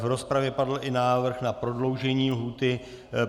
V rozpravě padl i návrh na prodloužení lhůty.